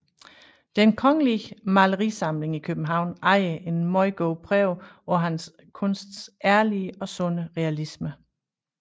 Den Kongelige Malerisamling i København ejer en meget god prøve på hans kunsts ærlige og sunde realisme